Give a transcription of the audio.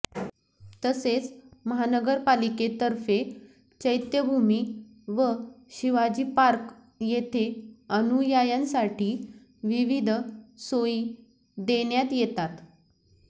तसेच महानगरपालिकेतर्फे चैत्यभूमी व शिवाजी पार्क येथे अनुयायांसाठी विविध सोयी देण्यात येतात